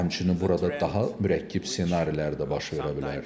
Həmçinin burada daha mürəkkəb ssenarilər də baş verə bilər.